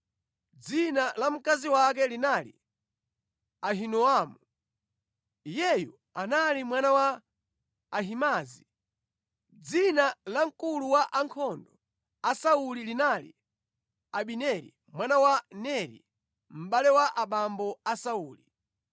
Dzina la mkazi wake linali Ahinoamu. Iyeyu anali mwana wa Ahimaazi. Dzina la mkulu wa ankhondo a Sauli linali Abineri mwana wa Neri, mʼbale wa abambo a Sauli.